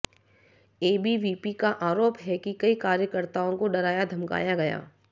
ABVP का आरोप है कि कई कार्यकर्ताओं को डराया धमकाया गया